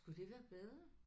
Skulle det være bedre?